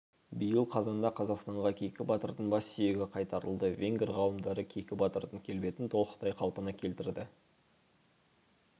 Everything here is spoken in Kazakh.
биыл қазанда қазақстанға кейкі батырдың бас сүйегі қайтарылды венгр ғалымдары кейкі батырдың келбетін толықтай қалпына келтірді